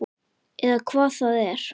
Eða hvað það er.